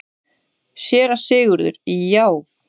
SÉRA SIGURÐUR: Já!